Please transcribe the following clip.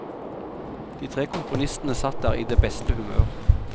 De tre komponistene satt der i det beste humør.